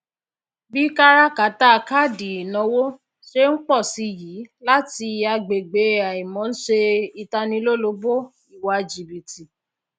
bi káràkátà káàdì ìnáwó ṣe n pọ si i yii láti agbègbè àìmọ n ṣe ìtanilólobó iwa jìbìtì